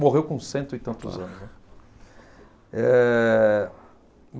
Morreu com cento e tantos anos, né. Eh